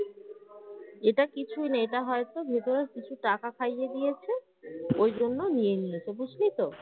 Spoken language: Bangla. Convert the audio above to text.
এটা কিছুই না এটা হয়তো ভেতরে কিছু টাকা খাইয়ে দিয়েছে ওই জন্য নিয়ে নিয়েছে বুঝলি তো